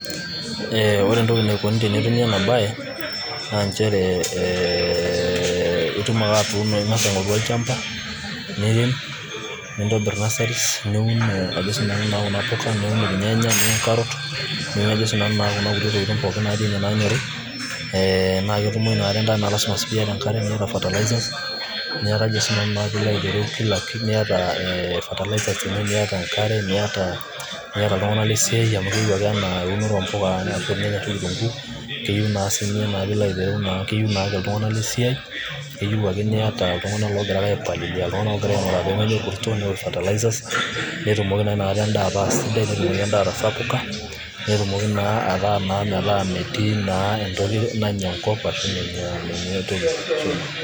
Eeeeh ore